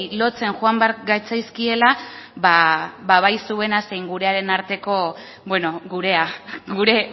lotzen joan behar gatzaizkiela ba bai zuena zein gurearen arteko bueno gurea gure